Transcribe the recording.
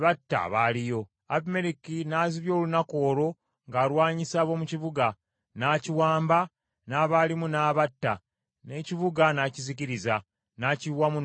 Abimereki n’azibya olunaku olwo ng’alwanyisa ab’omu kibuga, n’akiwamba, n’abaalimu n’abatta, n’ekibuga n’akizikiriza, n’akiyiwamu n’omunnyo.